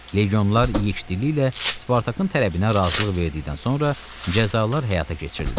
Legionlar yikdili ilə Spartakın tələbinə razılıq verdikdən sonra cəzalar həyata keçirildi.